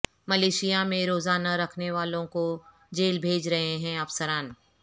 Malaysia میں روزہ نہ رکھنے والوں کو جیل بھیج رہے ہیں افسران